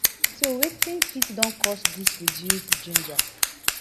so wetin fit don cause dis reduced ginger